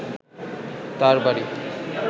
তার বাড়ি